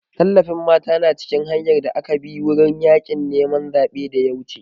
Tallafin mata na cikin hanyar da aka bi wurin yaƙin neman zaɓen da ya wuce.